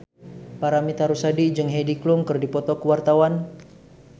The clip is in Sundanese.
Paramitha Rusady jeung Heidi Klum keur dipoto ku wartawan